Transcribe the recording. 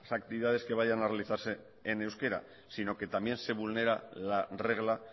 actividades que vayan a realizarse en euskera sino que también se vulnera la regla